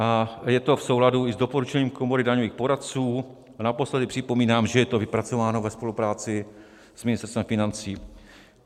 A je to v souladu i s doporučením Komory daňových poradců a naposledy připomínám, že je to vypracováno ve spolupráci s Ministerstvem financí.